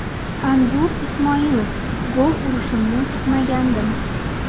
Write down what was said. Anzur Ismoilov: Gol urishimni kutmagandim.